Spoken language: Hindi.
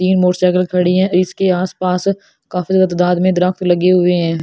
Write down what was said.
तीन मोटरसाइकिल खड़ी है इसके आसपास काफी ज्यादा तादाद में दरख़्त लगे हुए हैं ।